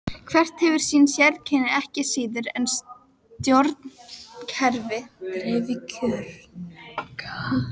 Hvert hefur sín sérkenni ekki síður en stjórnkerfi dreifkjörnunga.